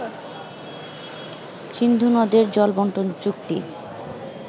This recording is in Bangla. সিন্ধুনদের জলবন্টন চুক্তি